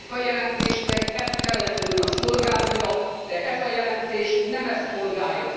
Ennek a jelentésnek ezt kellett volna szolgálnia, de ez a jelentés nem ezt szolgálja.